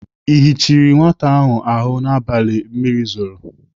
Ị yichiri nwata ahụ n'abalị mmiri zoro?